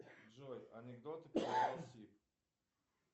джой анекдоты